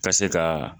Ka se ka